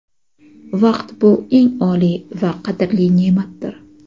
Vaqt bu eng oliy va qadrli neʼmatdir!.